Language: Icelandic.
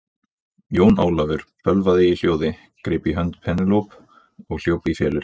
Jón Ólafur bölvaði í hljóði, greip í hönd Penélope og hljóp í felur.